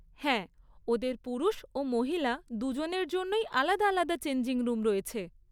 হ্যাঁ, ওদের পুরুষ ও মহিলা দুজনের জন্যই আলাদা আলাদা চেঞ্জিং রুম রয়েছে।